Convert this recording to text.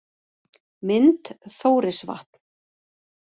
Mynd: Þórisvatn